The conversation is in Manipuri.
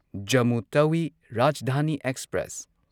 ꯖꯝꯃꯨ ꯇꯥꯋꯤ ꯔꯥꯖꯙꯥꯅꯤ ꯑꯦꯛꯁꯄ꯭ꯔꯦꯁ